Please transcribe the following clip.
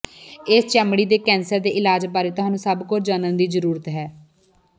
ਇਸ ਚਮੜੀ ਦੇ ਕੈਂਸਰ ਦੇ ਇਲਾਜ ਬਾਰੇ ਤੁਹਾਨੂੰ ਸਭ ਕੁਝ ਜਾਣਨ ਦੀ ਜ਼ਰੂਰਤ ਹੈ